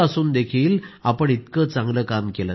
असं असूनही आपण इतकं चांगलं काम केलं